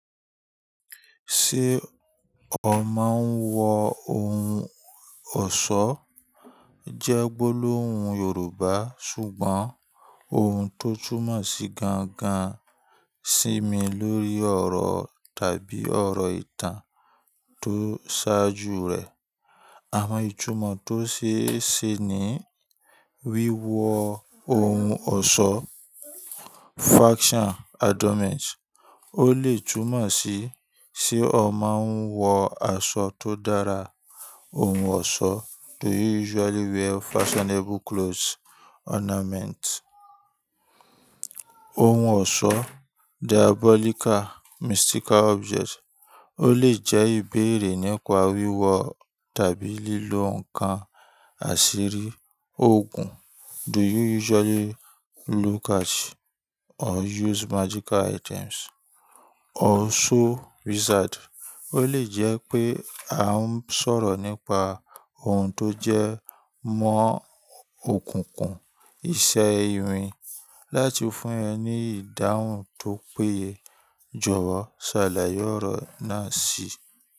Ṣé ọ máa ń wọ ohun ọ̀ṣọ́? Jẹ́ gbólóhun Yorùbá, ṣùgbọ́n ohun tó túmọ̀ sí gangan sími lórí ọ̀rọ̀ tàbí ọ̀rọ̀ ìtàn tó ṣáájú rẹ̀. Àwọn ìtumọ̀ tó ṣeé ṣe ni wíwọ ohun ọ̀ṣọ́ ó lè túmọ̀ sí, ṣe ọ máa ń wọ aṣọ tó dára, ohun ọ̀ṣọ́ ohun ọ̀ṣọ́ ó lè jẹ́ ìbéèrè nípa wíwọ tàbí lílo ǹkan àṣírí, òògùn ọ̀ṣọ́ ó lè jẹ́ pé a ń sọ̀rọ̀ nípa ohun tó jẹ́ mọ́ òkùnkùn, iṣẹ́ irin, láti fún ẹ ní ìdáhùn tó péye. Jọ̀wọ́ ṣàlàyé ọ̀rọ̀ náà síi.